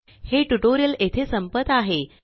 हे ट्यूटोरियल येथे संपत आहे